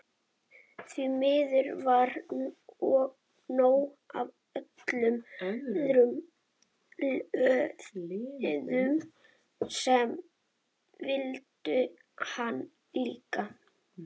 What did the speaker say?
Því miður var nóg af öðrum liðum sem vildu hann líka.